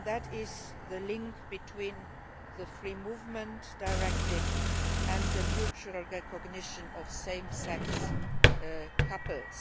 It concerns the link between the Free Movement Directive and the mutual recognition of same sex couples.